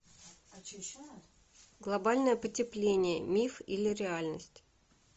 глобальное потепление миф или реальность